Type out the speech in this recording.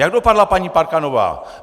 Jak dopadla paní Parkanová?